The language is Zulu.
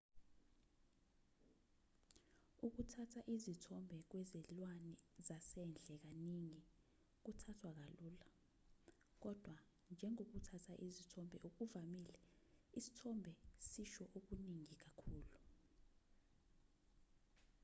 ukuthatha izithombe kwezilwane zasendle kaningi kuthathwa kalula kodwa njengokuthatha izithombe okuvamile isithombe sisho okuningi kakhulu